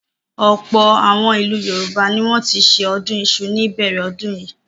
Ọ̀pọ̀ àwọn ìlú Yorùbá ni wọ́n ti ṣe ọdún iṣu ní ìbẹ̀rẹ̀ ọdún yìí.